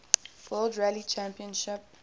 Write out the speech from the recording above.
world rally championship